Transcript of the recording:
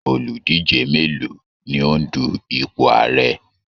Oludije mélòó ni ó ń dù ipò Ààrẹ?